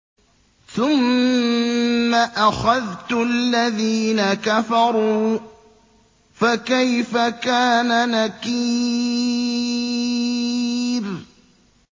ثُمَّ أَخَذْتُ الَّذِينَ كَفَرُوا ۖ فَكَيْفَ كَانَ نَكِيرِ